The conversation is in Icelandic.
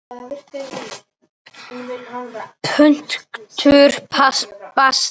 Punktur basta!